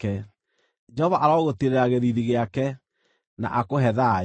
Jehova arogũtiirĩra gĩthiithi gĩake, na akũhe thayũ.” ’